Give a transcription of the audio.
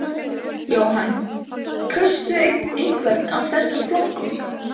Jóhann: Kaustu einhvern af þessum flokkum?